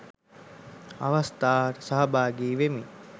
අවස්ථාවට සහභාගී වෙමිනි